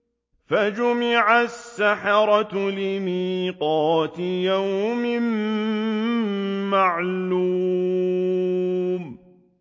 فَجُمِعَ السَّحَرَةُ لِمِيقَاتِ يَوْمٍ مَّعْلُومٍ